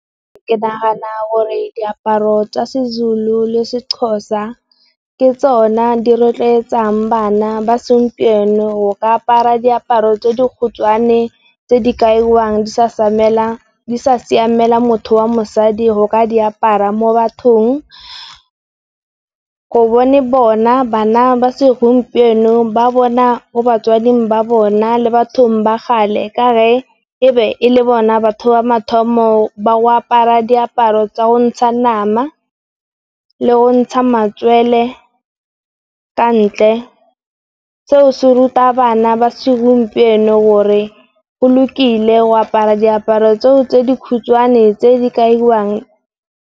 Ke nagana gore diaparo tsa Sezulu le tsa Sexhosa ke tsona di rotloetsang bana ba segompieno go apara diaparo tse dikhutswane tse di kaiwang, di sa siamela motho wa mosadi go ka di apara mo bathong. Gobane bona bana ba segompieno ba bona mo batswading ba bona le bathong ba kgale, ka gore e ne e le bona batho ba mathomo ba go apara diaparo tsa go ntsha nama, le go ntsha matswele ko ntle. Seo se ruta bana ba segompieno gore go lokile go apara diaparo tseo tse dikhutshwane tse dikaiwang.